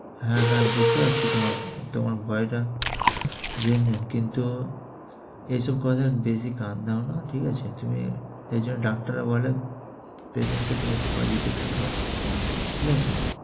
হ্যাঁ হ্যাঁ, বুঝতে পারছি তোমার ভয়~ ভয়টা। কিন্তু এসব কথার বেশি কান দাও না, ঠিক আছে? তুমি এই যে ডাক্তাররা বলে, patient কে তুমি positive থাকো। ঠিক আছে?